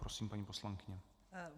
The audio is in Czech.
Prosím, paní poslankyně.